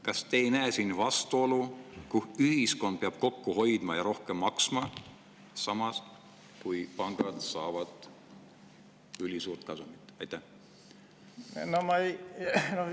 Kas te ei näe siin vastuolu, kui ühiskond peab kokku hoidma ja rohkem maksma, samas kui pangad saavad ülisuurt kasumit?